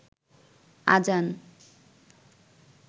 আজান